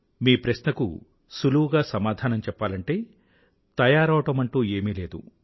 మీ ప్రశ్నకు సులువుగా సమాధానం చెప్పాలంటే తయారవడమంటూ ఏమీ లేదు